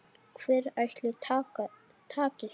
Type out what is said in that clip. Hver ætli taki þetta?